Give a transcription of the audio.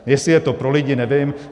Jestli je to pro lidi, nevím.